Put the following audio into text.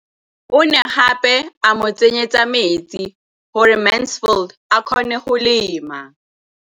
O ne gape a mo tsenyetsa metsi gore Mansfield a kgone go lema.